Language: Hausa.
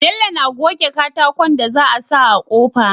Bello na goge katakon da za a sa a kofa